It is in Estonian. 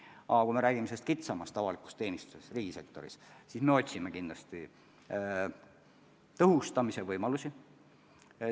Aga kui me räägime kitsamast avalikust teenistusest riigisektoris, siis me otsime kindlasti tõhustamise võimalusi.